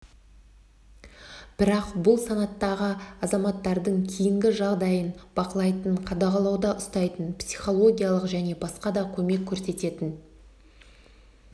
бірақ бұл санаттағы азаматтардың кейінгі жағдайын бақылайтын қадағалауда ұстайтын психологиялық және басқа да көмек көрсететін